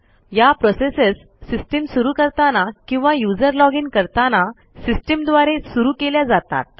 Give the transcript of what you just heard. या processes system सुरू करताना किंवा यूझर लॉजिन करताना सिस्टीम द्वारे सुरू केल्या जातात